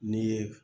N'i ye